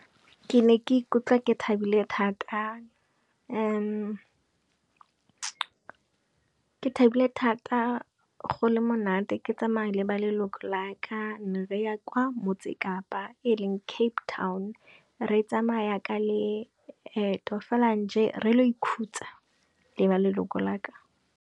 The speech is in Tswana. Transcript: Ke ne ke ikutlwa ke thabile thata go le monate ke tsamaya le ba leloko la ka, re ya kwa motse kapa eleng Tape town. Re tsamaya ka leeto fela nje, re ile go ikhutsa le ba leloko la ka.